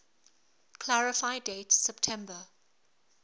clarify date september